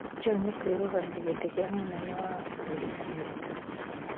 John kũĩrũgamia gĩtĩ gĩa mũnene wa bũrũri Amerika